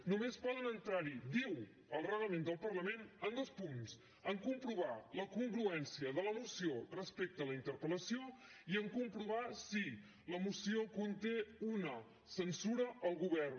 només poden entrar hi ho diu el reglament del parlament en dos punts en comprovar la congruència de la moció respecte a la interpel·lació i en comprovar si la moció conté una censura al govern